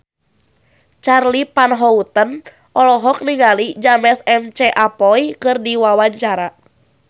Charly Van Houten olohok ningali James McAvoy keur diwawancara